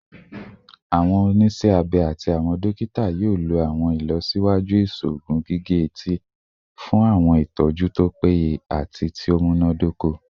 Awọn oniṣẹ abẹ ati awọn dokita yoo lo awọn ilọsiwaju iṣoogun gige-eti fun awọn itọju to peye ati ti o munadoko